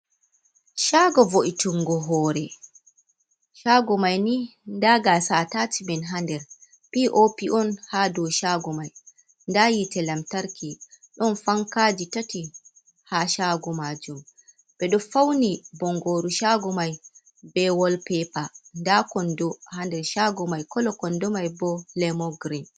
Shago vo'itungo hoore. Shaago mai ni, nda gasa atashmen ha nder. P.O.P on ha dou shaago mai. Nda yite lamtarki. Ɗon fankaaji tati ha shaago majum ɓe ɗo fauni bongoru shaago mai be wol pepa. Nda kondo ha nder shaago mai, kolo kondo mai bo lemon grin.